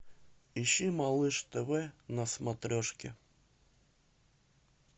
ищи малыш тв на смотрешке